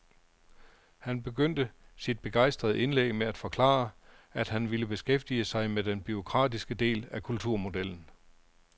Han begyndte sit begejstrede indlæg med at forklare, at han ville beskæftige sig med den bureaukratiske del af kulturmodellen.